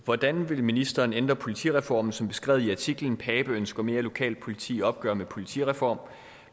hvordan vil ministeren ændre politireformen som beskrevet i artiklen pape ønsker mere lokalt politi i opgør med politireform